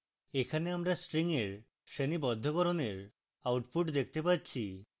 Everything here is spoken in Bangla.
এখানে আমরা string এর শ্রেণীবদ্ধকরণের output দেখতে পাচ্ছি